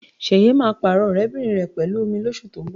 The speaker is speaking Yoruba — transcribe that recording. Ṣẹ̀yẹ máa pààrọ̀ ọ̀rẹ́bìnrin rẹ̀ pẹ̀lú òmíì lóṣù tó ń bọ̀